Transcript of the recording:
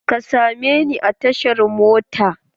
Ka sa me ni a tashar mota!